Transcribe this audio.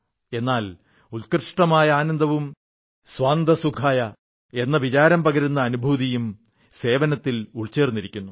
എന്നാൽ ഉത്കൃഷ്ടമായ ആനന്ദവും സ്വാന്തഃ സുഖായഃ എന്ന വിചാരം പകരുന്ന അനുഭൂതിയും സേവനത്തിൽ ഉൾച്ചേർന്നിരിക്കുന്നു